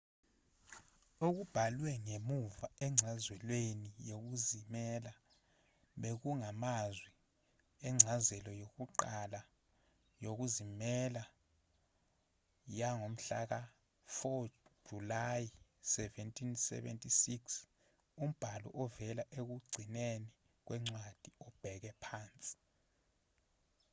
okubhalwe ngemuva encazelweni yokuzimela bekungamazwi encazelo yokuqala yokuzimela yangomhlaka-4 julayi 1776 umbhalo ovela ekugcineni kwencwadi obheke phansi